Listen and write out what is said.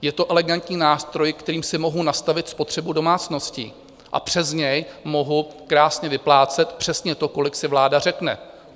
Je to elegantní nástroj, kterým si mohu nastavit spotřebu domácností a přes něj mohu krásně vyplácet přesně to, kolik si vláda řekne.